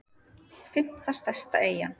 fimmta stærsta eyjan